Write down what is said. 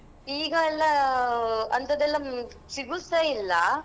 ಈಗ ಎಲ್ಲಾ ಅಂಥದೆಲ್ಲಾ ಸಿಗುದ್ಸಾ ಇಲ್ಲಾ.